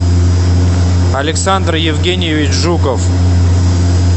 александр евгеньевич жуков